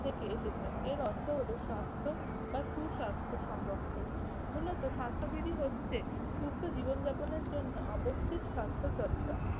থেকে এসেছে। এর অর্থ হল স্বাস্থ্য বা সুস্বাস্থ্য সংরক্ষণ। মূলত স্বাস্থ্যবিধি হচ্ছে, সুস্থ জীবন যাপনের জন্য আবস্যিক স্বাস্থ্য চর্চা।